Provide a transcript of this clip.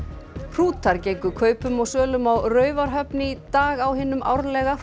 hrútar gengu kaupum og sölum á Raufarhöfn í dag á hinum árlega